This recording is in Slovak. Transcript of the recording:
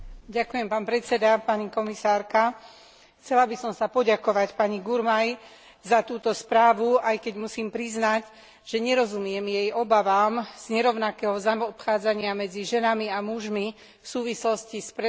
Chcela by som sa poďakovať pani Gurmai za túto správu, aj keď musím priznať, že nerozumiem jej obavám z nerovnakého zaobchádzania medzi ženami a mužmi v súvislosti s predajom antikoncepcie a vykonávaním interrupcií.